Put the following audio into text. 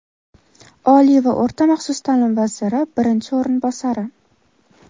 Oliy va o‘rta maxsus taʼlim vaziri birinchi o‘rinbosari;.